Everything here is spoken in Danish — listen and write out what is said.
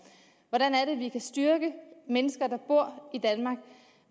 hvordan kan vi styrke mennesker der bor i danmark